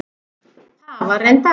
Það var reyndar